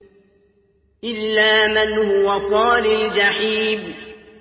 إِلَّا مَنْ هُوَ صَالِ الْجَحِيمِ